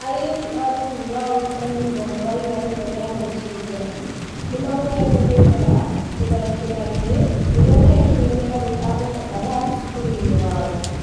Airĩtu a thukuru wa ũrutani rũgongo rwa irathĩro ria Nigeria, nĩmahotete gwĩthara itharĩkĩra-inĩ rĩrĩa rĩekirwo nĩ arũi a Boko Haram cukuru-inĩ wao